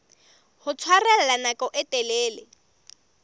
ho tshwarella nako e telele